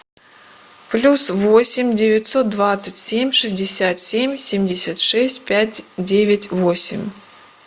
плюс восемь девятьсот двадцать семь шестьдесят семь семьдесят шесть пять девять восемь